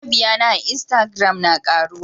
Mabiyana a instagram na karuwa.